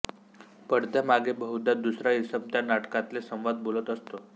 पडद्यामागे बहुधा दुसरा इसम त्या नाटकातले संवाद बोलत असतो